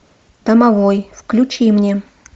домовой включи мне